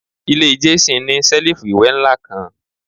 Ile Jason ni selifu iwẹ nla kan